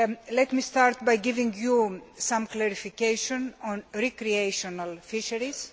Let me start by giving you some clarification on recreational fisheries.